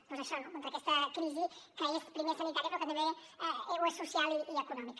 doncs això no contra aquesta crisi que és primer sanitària però que també és social i econòmica